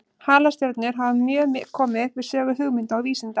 Halastjörnur hafa mjög komið við sögu hugmynda og vísinda.